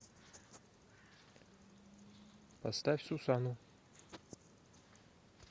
поставь сусану